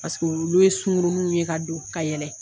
paseke olu ye sunkurunun ye ka don ka yɛlɛ